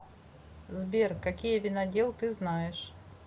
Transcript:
сбер какие винодел ты знаешь